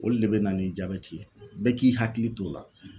Olu de bɛ na ni jabɛti ye bɛɛ k'i hakili t'o la